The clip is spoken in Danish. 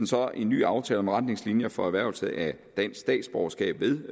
så en ny aftale om retningslinjer for erhvervelse af dansk statsborgerskab ved